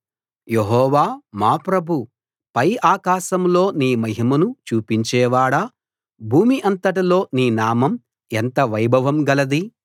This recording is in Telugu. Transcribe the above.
యెహోవా మా ప్రభూ పై ఆకాశాలలో నీ మహిమను చూపించేవాడా భూమి అంతటిలో నీ నామం ఎంత వైభవం గలది